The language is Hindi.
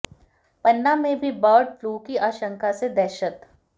पन्ना में भी बर्ड फ्लू की आशंका से दहशत